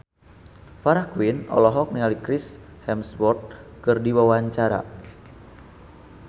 Farah Quinn olohok ningali Chris Hemsworth keur diwawancara